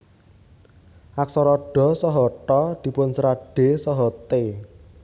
Aksara dha saha tha dipunserat d saha t